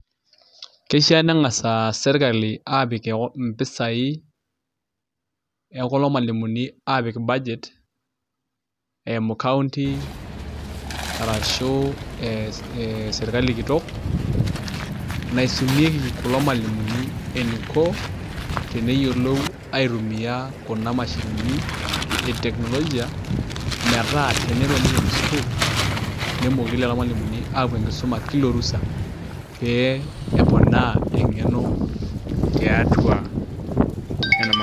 Kishaa nenkasa sirkali aapik impisai ekulo malimumi aapik budget, eimu kaunti arashu eimu sirkali kitok naisumieki kulo malimumi eniko teneyiolo eniko aitumiya kuna mashinini e teknologia metaa elo nikeni sukuul nemooki kulo malimumi aapuo enkisuma kila orusa, pee eponaa enkeno tiatua nena mashinini.